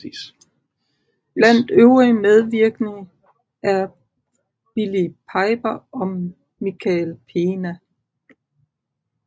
Blandt øvrige medvirkende er Billie Piper og Michael Pena